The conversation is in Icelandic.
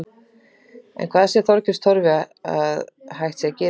En hvað sér Þorgils Torfi að hægt sé að gera í stöðunni?